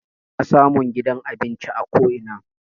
Ana samun gidan abinci a ko ina.